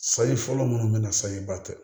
Sayi fɔlɔ minnu bɛ na sayi ba tɛ